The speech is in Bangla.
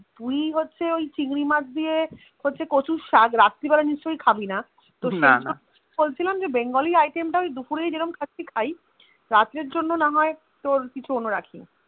তুই হচ্ছে ওই চিংড়ি মাছ দিয়ে সাথে কচুর সাজা রাত্তিরবেলা নিশ্চয়ই খবিনা তো সেই জন্যে বলছিলাম বাঙ্গালী আইটেম তা দুপুরে খাচ্ছি খাই রাতের জন্যে না হয়ে তোর কিছু অন্য রাখি